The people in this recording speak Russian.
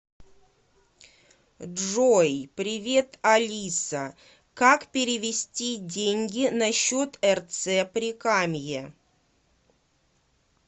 джой привет алиса как перевести деньги на счет рц прикамье